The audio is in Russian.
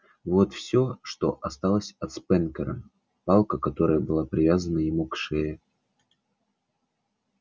вот всё что осталось от спэнкера палка которая была привязана ему к шее